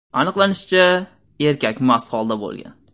Aniqlanishicha, erkak mast holda bo‘lgan.